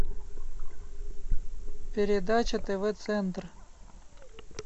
передача тв центр